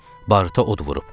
Barıta od vurub.